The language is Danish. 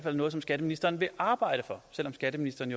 er noget som skatteministeren vil arbejde for selv om skatteministeren